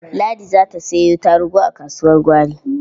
Ladi za ta sayo tarugu a kasuwar gwari.